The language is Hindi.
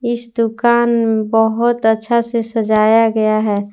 इस दुकान बहुत अच्छा से सजाया गया है।